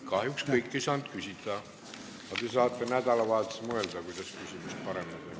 Kahjuks ei saanud kõik küsida, aga te saate nädalavahetusel mõelda, kuidas küsimust paremaks teha.